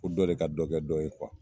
Fɔ dɔ de ka dɔkɛ dɔ ye kuwa